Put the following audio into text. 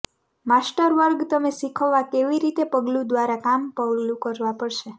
master વર્ગ તમે શીખવવા કેવી રીતે પગલું દ્વારા કામ પગલું કરવા પડશે